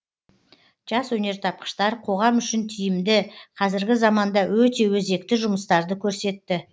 жас өнертапқыштар қоғам үшін тиімді қазіргі заманда өте өзекті жұмыстарды көрсетті